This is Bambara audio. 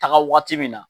Taga waati min na